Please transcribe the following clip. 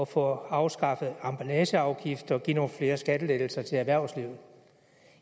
få afskaffet emballageafgifter og give nogle flere skattelettelser til erhvervslivet